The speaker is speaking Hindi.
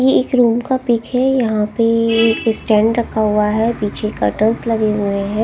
यह एक रूम का पिक है यहां पे स्टैंड रखा हुआ है पीछे कर्टेनस लगे हुए हैं।